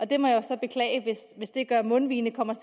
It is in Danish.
det må jeg så beklage hvis det gør at mundvigene kommer